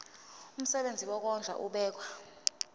umsebenzi wokondla ubekwa